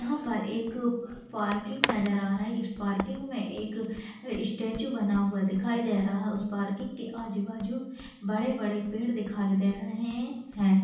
यहाँ पर एक पार्किंग नजर आ रहा इस पार्किंग में एक स्टैचू बना हुआ दिखाई दे रहा उस पार्किंग के आजु-बाजु बड़े-बड़े पेड़ दिखाई दे रहे है।